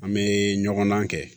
An bɛ ɲɔgɔn dan kɛ